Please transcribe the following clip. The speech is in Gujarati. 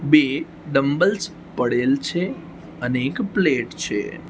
બે ડમબલ્સ પડેલ છે અને એક પ્લેટ છે.